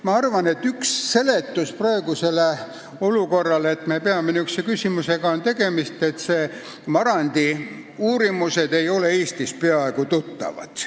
Ma arvan, et üks seletus praegusele olukorrale, et me peame selle küsimusega tegelema, on see, et Marandi uurimused ei ole Eestis peaaegu üldse tuttavad.